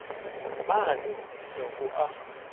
mane ho isa ho a